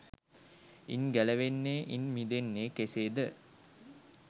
ඉන් ගැලවෙන්නේ ඉන් මිදෙන්නේ කෙසේද?